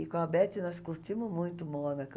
E com a Betty nós curtimos muito Mônaco.